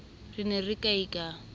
ne re re kiai ka